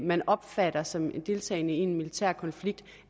man opfatter som deltagende i en militær konflikt